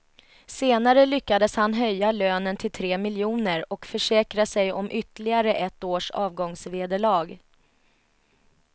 Senare lyckades han höja lönen till tre miljoner och försäkra sig om ytterligare ett års avgångsvederlag.